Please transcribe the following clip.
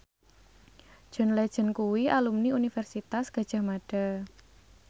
John Legend kuwi alumni Universitas Gadjah Mada